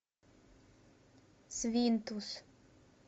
свинтус